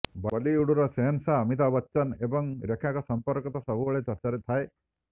ବଲିଉଡର ସେହନ୍ଶାହା ଅଭିତାଭ ବଚ୍ଚନ ଏବଂ ରେଖାଙ୍କ ସମ୍ପର୍କ ତ ସବୁବେଳେ ଚର୍ଚ୍ଚାରେ ଥାଏ